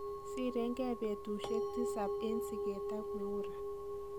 Sirengei betusiek tisab en sigeet ak Miura.